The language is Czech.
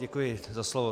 Děkuji za slovo.